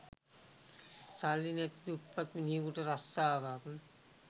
සල්ලි නැති දුප්පත් මිනිහෙකුට රස්සාවක්